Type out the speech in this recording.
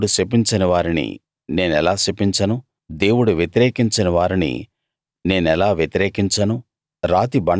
దేవుడు శపించనివారిని నేనెలా శపించను దేవుడు వ్యతిరేకించని వారిని నేనెలా వ్యతిరేకించను